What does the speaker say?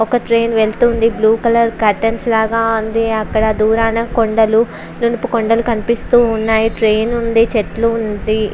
ఒక ట్రైన్ వెళ్తూ ఉంది బ్లూ కలర్ క్యూరిటైన్స్ లాగా ఉంది దూరాన కొండల నునుపు కొండలు లాగా కనిపిస్తునాయి ట్రైన్ ఉంది చెట్లు ఉంది .